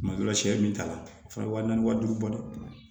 Tuma dɔ la sɛ min t'a la o fana waa naani wa duuru bɔ dɛ